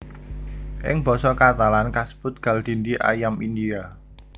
Ing basa Katalan kasebut gall dindi ayam India